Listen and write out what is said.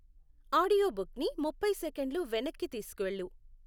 ఆడియోబుక్ని ముప్పై సేకన్లు వెనక్కి తీసుకెళ్లు